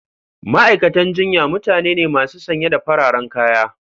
Ma'aikatan jinya mutane ne masu sanye da fararen kaya.